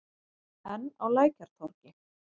Enn á Lækjartorgi.